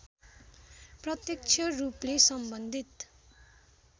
प्रत्यक्ष रूपले सम्बन्धित